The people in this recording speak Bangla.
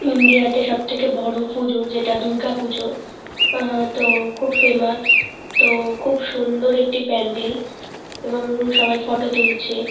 ইন্ডিয়াতে সবথেকে বড় পূজো যেটা দুর্গাপূজো আহ তো খুব ফেমাস তো খুব সুন্দর একটি প্যান্ডেল এবং সবাই ফটো তুলছে।